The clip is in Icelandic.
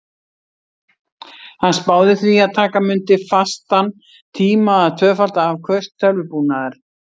Hann spáði því að taka mundi fastan tíma að tvöfalda afköst tölvubúnaðar.